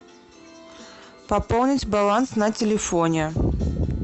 пополнить баланс на телефоне